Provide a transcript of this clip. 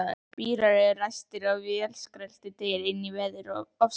Bílar eru ræstir og vélarskröltið deyr inní veðurofsanum.